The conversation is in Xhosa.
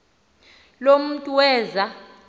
lo mntu weza